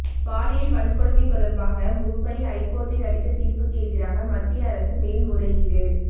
பாலியல் வன்கொடுமை தொடர்பாக மும்பை ஐகோர்ட் அளித்த தீர்ப்புக்கு எதிராக மத்திய அரசு மேல்முறையீடு